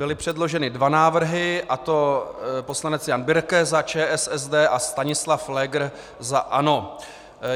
Byly předloženy dva návrhy, a to poslanec Jan Birke za ČSSD a Stanislav Pfléger za ANO.